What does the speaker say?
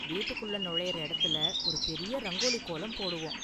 வீட்டுக்குள்ள நுழையுற இடத்துல ஒரு பெரிய ரங்கோலி கோலம் போடுவோம்.